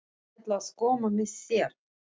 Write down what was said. Ég ætla að koma með þér!